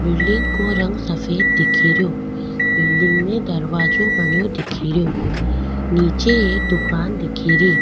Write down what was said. Building को रंग सफ़ेद दिखेरयो बिल्डिंग में दरवाजो बनयो दिखेरयो नीचे एक दुकान दिखेरी।